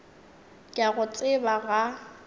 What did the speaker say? ke a go tseba ga